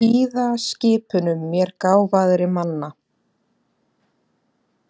Hlýða skipunum mér gáfaðri manna.